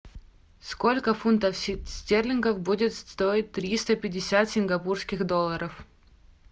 сколько фунтов стерлингов будет стоить триста пятьдесят сингапурских долларов